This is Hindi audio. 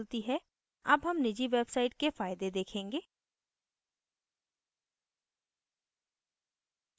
अब हम निजी वेबसइट के फायदे देखेंगे